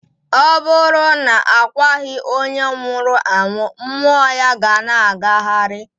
Ọ bụrụ na a kwaghị onye nwụrụ anwụ, mmụọ ya ga ana agagharị.